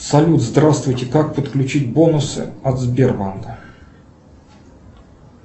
салют здравствуйте как подключить бонусы от сбербанка